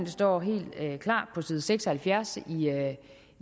står helt klart på side seks og halvfjerds